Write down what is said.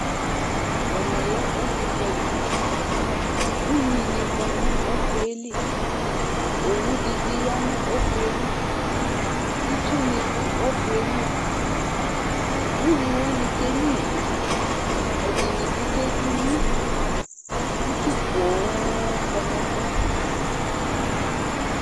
ɛmɛ lɛ ɔfutali, ugni kɔ nu ɔfutaɛli , owu di bi ya nu ɔfuɛ li , itsu ni du ɔfueli ugni wʋani ke gnʋa ivi, ɛdini bi ke dzi uwi, itsu poooo kɔ nu ɛfuɛ